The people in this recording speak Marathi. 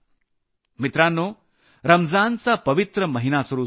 मित्रांनो रमजानचा पवित्र महिना सुरू झाला आहे